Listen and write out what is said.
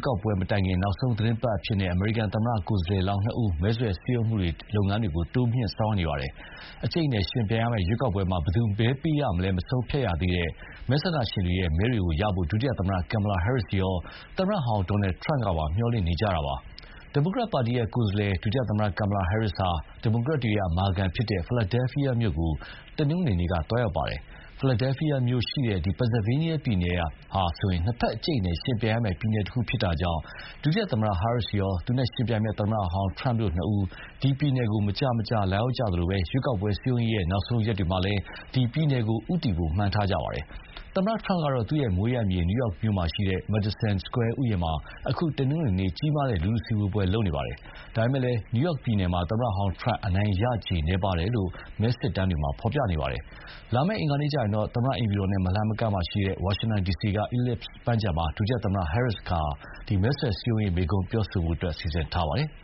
ကောက်ပွဲမတိုင်ခင် နောက်ဆုံးသီတင်းပတ်အဖြစ်နဲ့ အမေရိကန်သမ္မတ ကိုယ်စားလှယ်လောင်းနှစ်ဦး မဲဆွယ်စည်းရုံးရေးလုပ်ငန်းတွေ ဆောင်ရွက်နေပါတယ်။ အကြိတ်အနယ် ယှဉ်ပြိုင်ရမယ့် ရွေးကောက်ပွဲမှာ ဘယ်သူ့ကိုမဲပေးရမလဲ မဆုံးဖြတ်ရသေးတဲ့ မဲဆန္ဒရှင်တွေရဲ့ မဲတွေရဖို့ ဒုသမ္မတ Kamala Harris ရော သမ္မတဟောင်းDonald Trump ကပါ မျှော်လင့်နေကြတာပါ။ ဒီမိုကရက်ပါတီကိုယ်စားလှယ် ဒုသမ္မတ Kamala Harris ဟာ ဒီမိုကရက်တွေ အမာခံဖြစ်တဲ့ Philadelphia မြို့ကိုတနင်္ဂနွေနေ့က သွားရောက်ပါတယ်။ Philadelphia မြို့ရှိရာ Pennsylvania ပြည်နယ် နှစ်ဘက်အကြိတ်အနယ်ယှဉ်ပြိုင်ရမယ့် ပြည်နယ်တခုဖြစ်တာကြောင့် ဒုသမ္မတ Harris ရော သူ့နဲ့ယှဉ်ပြိုင်မယ့် သမ္မတဟောင်း Trump တို့နှစ်ဦး ဒီပြည်နယ်ကို မကြာမကြာ လာရောက်ခဲ့သလို ရွေးကောက်ပွဲစည်းရုံးရေး နောက်ဆုံးရက်တွေမှာလည်း ဒီပြည်နယ်ကို ဦးတည်ဖို့မှန်းထားကြတာပါ။ သမ္မတ Trump ကတော့ သူ့ မွေးရပ်မြေ New York မြို့က Madison Square ဥယျာဉ်မှာ အခု တနင်္ဂနွေနေ့က ကြီးမားတဲ့လူထုစုဝေးပွဲလုပ်ပါတယ်။ ဒါပေမယ့်လည်း New York ပြည်နယ်မှာ သမ္မတဟောင်း Trump အနိုင်ရခြေ နည်းပါးတယ်လို့မဲစစ်တမ်းတွေမှာ ဖော်ပြနေပါတယ်။ လာမယ့် အင်္ဂါနေ့မှာတော့ သမ္မတအိမ်ဖြူတော်နဲ့ မလှမ်းမကမ်းက ဝါရှင်တန်ဒီစီက Ellipse ပန်းခြံမှာ ဒုသမ္မတ Harris ကမဲဆွယ်စည်းရုံးရေး မိန်းခွန်းပြောဖို့စီစဉ်ထားပါတယ်။